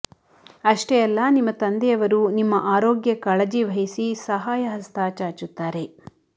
ಅಷ್ಟೇ ಅಲ್ಲ ನಿಮ್ಮ ತಂದೆಯವರು ನಿಮ್ಮ ಆರೋಗ್ಯ ಕಾಳಜಿವಹಿಸಿ ಸಹಾಯ ಹಸ್ತ ಚಾಚುತ್ತಾರೆ